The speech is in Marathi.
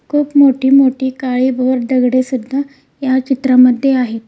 खूप मोठी मोठी काळी भोर दगडे सुद्धा या चित्रामध्ये आहेत.